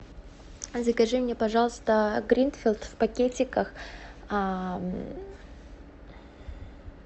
закажи мне пожалуйста гринфилд в пакетиках